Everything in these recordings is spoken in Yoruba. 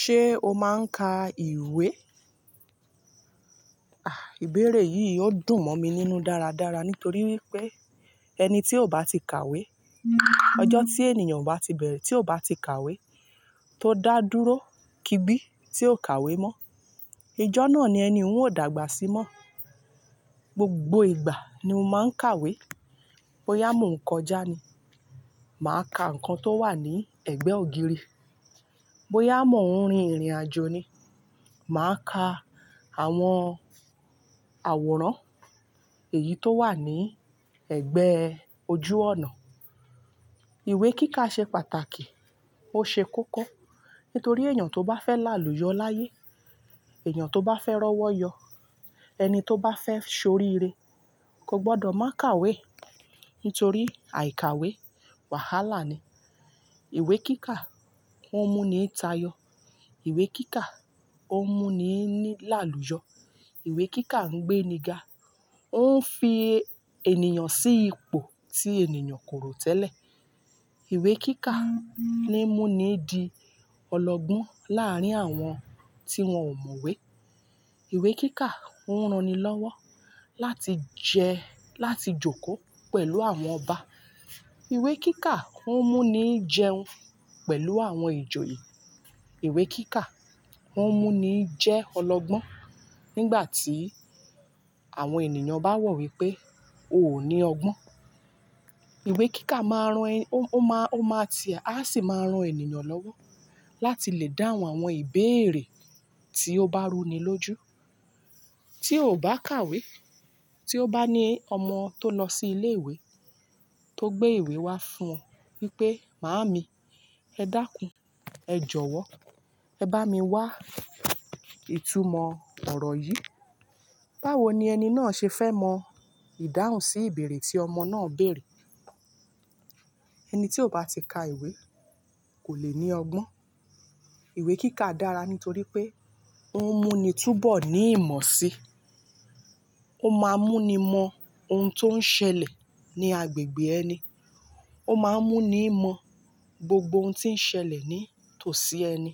Ṣé o máa ń ka ìwé? Àh, ìbéèrè yìí ó dùn mọ́ mi nínú dáradára nítorí wípé ẹni tí ó bá ti kàwé, ọjọ́ tí ènìyàn bá ti bẹ̀rẹ̀ tí ó bá ti kàwé tó dá dúró, kí gbí tí ó kàwé mọ́, ijọ́ náà ni ẹni oun o dàgbà sí mọ́. Gbogbo ìgbà ni mo máa ń kàwé. Boyà mó ń kọjá ni, màá ka nǹkan tó wà ní ẹ̀gbẹ́ ògiri. Bo yà mó ń rin ìrìnàjò ni, màá ka àwọn àwòrán èyí tó wà ní ẹ̀gbẹ́ ojú ọnà. Ìwé kíkà ṣe pàtàkì, ó ṣe kókó. Nítorí èèyàn tó bá fẹ́ láàlú yọ láyé, èèyàn tó bá fẹ́ rọ́wọ́ yọ, ẹni tó bá fẹ́ ṣoríire, kò gbọdọ̀ má kàwé. Nítorí àìkàwé wàhálà ni. Ìwé kíkà o ń mú ni tayọ. Ìwé kíkà ó ń mú ni ní láàlú yọ. Ìwé kíkà ń gbéni ga. Ó ń fi ènìyàn sí ipò tí ènìyàn kò rò tẹ́lẹ̀. Ìwé kíkà ni mú ni di ọlọ́gbọ́n láàárín àwọn tí wọ́n ò mọ̀wé. Ìwé kíkà o ń ran ni lọ́wọ́ láti jẹ, láti jókòó pẹ̀lú àwọn Ọba. Ìwé kíkà ń mú ni jẹun pẹ̀lú àwọn ìjòyè. Ìwé kíkà o ń mú ni jẹ́ ọlọ́gbọ́n nígbà tí àwọn ènìyàn bá ro wípé o ò ní ọgbọ́n. Ìwé kíkà máa ń ran ẹni, ó má, ó máa ti, a sì máa ń ran ènìyàn lọ́wọ́ láti lè dáhùn àwọn ìbéèrè tí ó bá rúni lójú. Tí ó bá kàwé, tí ó bá ní ọmọ tó lọ sí ilé ìwé tó gbé ìwé wá fún ọ wípé "Màámi, ẹ dákún, ẹ jọ̀wọ́, ẹ bá mi wá ìtumọ̀ ọ̀rọ̀ yìí." Báwo ni ẹni náà ṣe fẹ́ mọ ìdáhùn sí ìbéèrè tí ọmọ náà béèrè? Ẹni tí ò bá ti ka ìwé kò le ní ọgbọ́n. Ìwé kíkà dára nítorí pé ó ń mú ni túbọ̀ ní ìmọ̀ sí, ó máa ń mú ni mọ ohun tó ń ṣẹlẹ̀ ní agbègbè ẹni, ó máa ń mú ni mọ gbogbo ohun tí ń ṣẹlẹ̀ ní tòsí ẹni.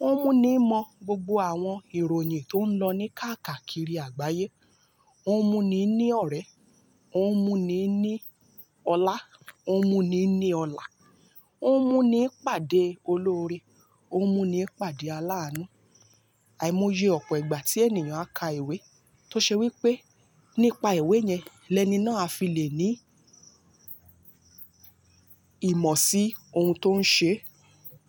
Ó ń mú ni mọ gbogbo àwọn ìròyìn tó ń lọ ní káàkakiri àgbáyé. Ó ń mú ni ní ọ̀rẹ́, ó ń mú ni ní ọlá, ó ń mú ni ní ọlá, ó ń mú ni pàdé olóre, ó ń mú ni pàdé alánú. Àìmọye ọ̀pọ̀ ìgbà tí ènìyàn á ka ìwé tó ṣe wípé nípa ìwé yẹn, lẹ́ni náà á fi lè ní ìmọ̀ sí ohun tó ń ṣe.